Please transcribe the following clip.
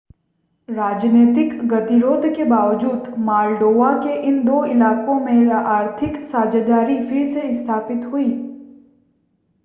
राजनीतिक गतिरोध के बावजूद माल्डोवा के इन दो इलाकों में आर्थिक साझेदारी फिर से स्थापित हुई